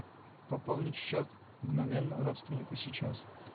пополнить счет мгновенно родственнику сейчас